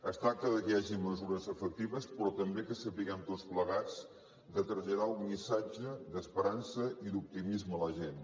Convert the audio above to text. es tracta que hi hagi mesures efectives però també que sapiguem tots plegats traslladar un missatge d’esperança i d’optimisme a la gent